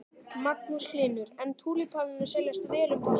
Magnús Hlynur: En túlípanarnir seljast vel um páskana?